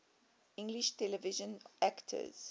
english television actors